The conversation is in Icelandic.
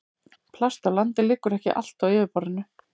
Plast á landi liggur ekki allt á yfirborðinu.